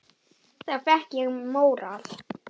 Þá fékk ég móral.